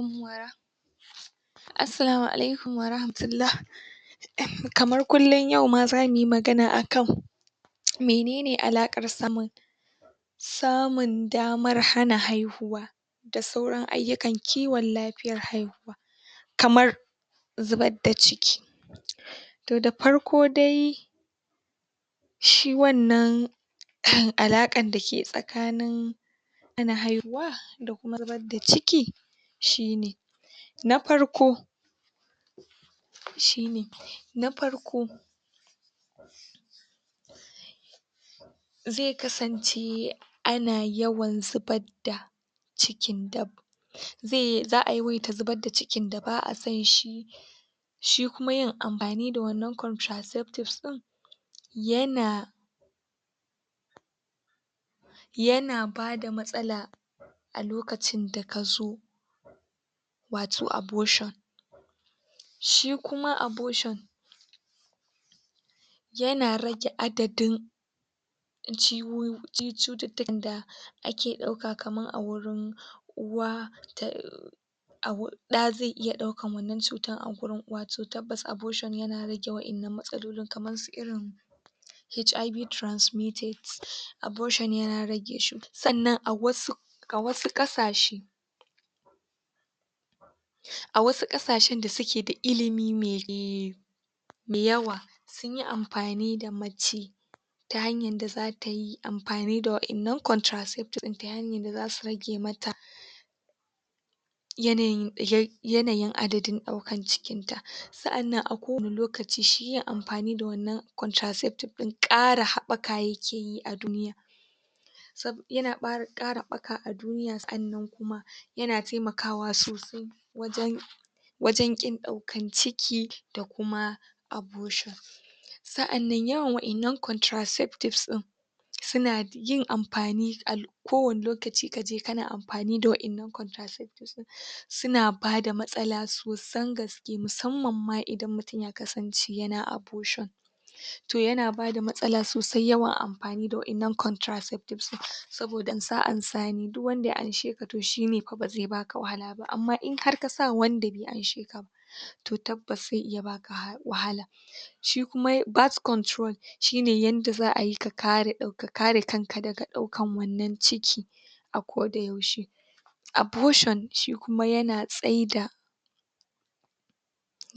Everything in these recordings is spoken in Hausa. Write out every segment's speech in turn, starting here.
? Assalamu alaikum wa rahmatullah. kamar kullum yau ma za mu yi magana akan mene ne alaƙar samun samun damar hana haihuwa da sauran ayyukan kiwon lafiyar haihuwa kamar zubar da ciki to da farko dai shi wannan uhm alaƙar da ke tsakanin hana haihuwa da kuma zubar da ciki shi ne na farko shi ne na farko zai kasance ana yawan zubad da cikin da za a yawaita zubad da cikin da ba a son shi shi kuma yin amfani da wannan contraceptives ɗin yana yana bada matsala a lokacin da ka zo wato abortion shi kuma abortion yana rage adadin cututtukan da da ake ɗauka kamar a wurin uwa da a wu ɗa zai iya ɗaukan wannan cuta a gurin uwa, to tabbas abortion yana rage wa’innan matsalolin kamar su irin HIV transmitted abortion yana rage shi Sannan a wasu a wasu ƙasashe wasu ƙasashen da suke da ilimi me me yawa sun yi amfani da mace ta hanyar da zata yi amfani da wa’innan contraceptives ɗin ta hanyar da zasu rage mata yanayin yanayin adadin ɗaukar cikinta sa’annan a kowane lokaci shi yin amfani da wannan contraceptives ɗin ƙara haɓaka yake yi a duniya yana ƙara haɓaka a duniya sannan kuma yana taimakawa sosai wajen wajen ƙin ɗaukan ciki da kuma abortion sa’annan yawan wa’innan contraceptives ɗin suna yin amfani a kowane lokaci ka je kana amfani da waɗannan contraceptives ɗin suna bada matsala sosan gaske musamman ma idan mutum ya kasance yana abortion to yana bada matsala sosai yawan amfani da wa’innan contraceptives ɗin saboda ansa-ansa ne saboda duk wanda ya amshe ka to shi ne fa ba zai baka wahala ba, to amma indai har kasa wanda bai amshe ka ba to tabbas zai iya baka wahala shi kuma birth control shi ne yadda za a yi ka kare kanka daga ɗaukar wannan ciki a koda yaushe abortion shi kuma yana tsaida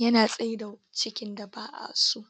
yana tsaida cikin da ba a so